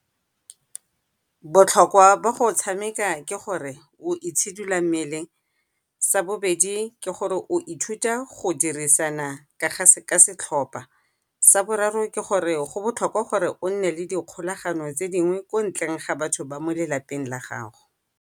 Botlhokwa jwa go tshameka ke gore o itshidila mmele, sa bobedi ke gore o ithuta go dirisana ka setlhopha, sa boraro ke gore go botlhokwa gore o nne le dikgolagano tse dingwe kwa ntleng ga batho ba mo lelapeng la gago.